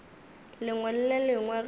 lengwe le le lengwe ge